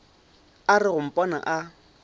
a re go mpona a